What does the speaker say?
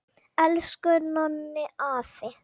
Elsku Nonni afi!